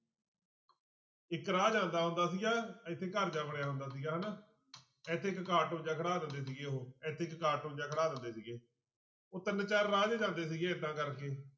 ਇੱਕ ਰਾਹ ਜਾਂਦਾ ਹੁੰਦਾ ਸੀਗਾ ਇੱਥੇ ਘਰ ਜਿਹਾ ਬਣਿਆ ਹੁੰਦਾ ਸੀਗਾ ਹਨਾ ਇੱਥੇ ਇੱਕ ਕਾਰਟੂਨ ਜਿਹਾ ਖੜਾ ਦਿੰਦੇ ਸੀਗੇ ਉਹ ਇੱਥੇ ਇੱਕ ਕਾਰਟੂਨ ਜਿਹਾ ਖੜਾ ਦਿੰਦੇ ਸੀਗੇ ਉਹ ਤਿੰਨ ਚਾਰ ਰਾਹ ਜਿਹੇ ਜਾਂਦੇ ਸੀਗੇ ਏਦਾਂ ਕਰਕੇ